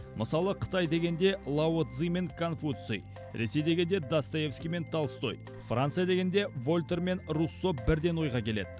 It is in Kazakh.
мысалы қытай дегенде лао цзы мен конфуций ресей дегенде достоевский мен толстой франция дегенде вольтер мен руссо бірден ойға келеді